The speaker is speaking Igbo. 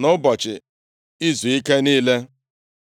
nʼụbọchị izuike niile.